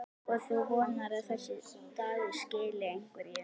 Og þú vonar að þessi dagur skili einhverju?